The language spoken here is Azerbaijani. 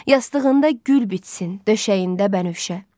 Yastığında gül bitsin, döşəyində bənövşə.